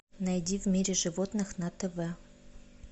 найди в мире животных на тв